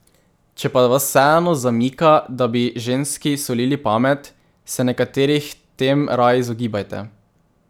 Če pa vas vseeno zamika, da bi ženski solili pamet, se nekaterih tem raje izogibajte.